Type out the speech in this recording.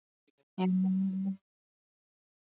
. já, og takk sömuleiðis fyrir síðast.